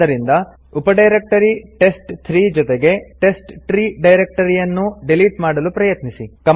ಅದ್ದರಿಂದ ಉಪಡೈರಕ್ಟರಿ ಟೆಸ್ಟ್3 ಜೊತೆಗೆ ಟೆಸ್ಟ್ಟ್ರೀ ಡೈರಕ್ಟರಿಯನ್ನೂ ಡಿಲಿಟ್ ಮಾಡಲು ಪ್ರಯತ್ನಿಸಿ